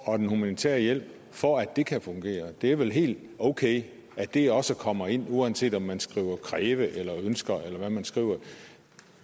og den humanitære hjælp for at det kan fungere det er vel helt okay at det også kommer ind uanset om man skriver kræver eller ønsker eller hvad man skriver